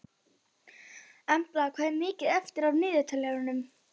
Embla, hvað er mikið eftir af niðurteljaranum?